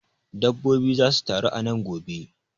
Dabbobin zasu taru a nan gobe.